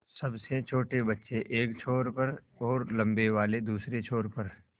सबसे छोटे बच्चे एक छोर पर और लम्बे वाले दूसरे छोर पर